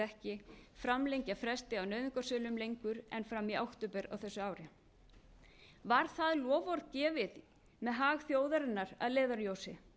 ekki framlengja fresti á nauðungarsölum lengur en fram í október á þessu ári var það loforð gefið með hag þjóðarinnar að leiðarljósi